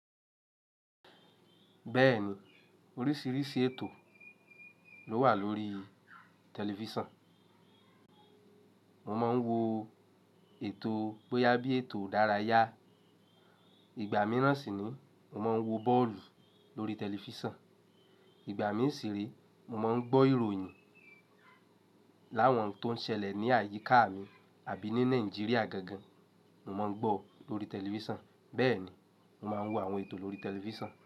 Bẹ́ẹ̀ni oríṣiríṣi ètò ló wà lórí tẹlifísàn. Mo máa ń wo ètò bóyá bí ètò ìdárayá. Ìgbà míirán sì ni mo máa ń wo bọ́ọ̀lù lórí tẹlifísàn. Ìgbà mí sì re mo máa ń gbọ́ ìròyìn láwọn n tó ń ṣẹlẹ̀ ní àyíká mi àbí ní Nàìjíríà gangan, mo má ń gbọ́ lórí tẹlifísàn. Bẹ́ẹ̀ ni, mo máa ń wo àwọn ètò lórí tẹlifísàn.